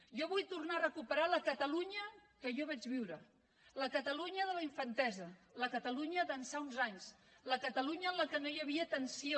jo vull tornar a recuperar la catalunya que jo vaig viure la catalunya de la infantesa la catalunya d’ençà d’uns anys la catalunya en què no hi havia tensió